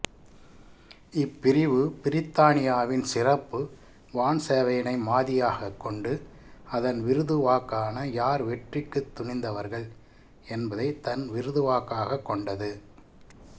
இப்பிரிவு பிரித்தானியாவின் சிறப்பு வான்சேவையினை மாதியாகக் கொண்டு அதன் விருதுவாக்கான யார் வெற்றிக்குத் துணிந்தவர்கள் என்பதை தன் விருதுவாக்காகக் கொண்டது